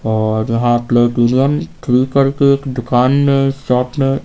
और यहां platinum three करके दुकान में शॉप में--